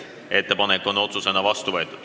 Eelnõu on otsusena vastu võetud.